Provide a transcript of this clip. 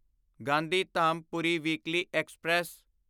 Gandhidham Puri weekly express